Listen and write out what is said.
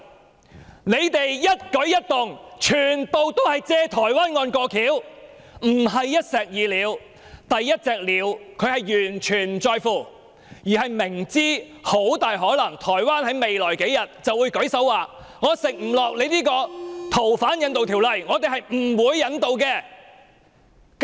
他們的一舉一動，全部均是藉台灣案"過橋"，不是一石二鳥，他們完全不在乎第一隻鳥，因為明知台灣很大可能在未來數天便會表示無法接受香港的修例建議。